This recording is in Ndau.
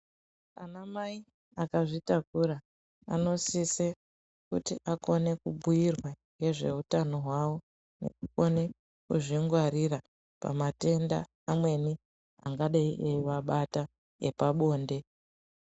Ana mai akazvitakura anosise kuti akone kubhuyirwa ngezveutano hwahwo kuti akone kuzvingwarira pamatenda amweni angadai evaibata epabonde.